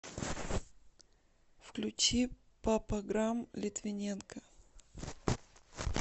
включи папаграмм литвиненко